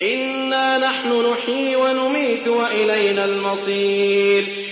إِنَّا نَحْنُ نُحْيِي وَنُمِيتُ وَإِلَيْنَا الْمَصِيرُ